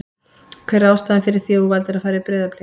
Hver er ástæðan fyrir því að þú valdir að fara í Breiðablik?